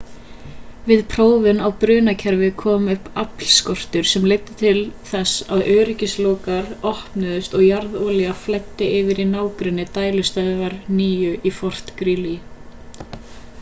við prófun á brunakerfi kom upp aflskortur sem leiddi til þess að öryggislokar opnuðust og jarðolía flæddi yfir í nágrenni dælustöðvar 9 í fort greely